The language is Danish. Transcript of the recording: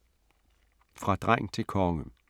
Fra dreng til konge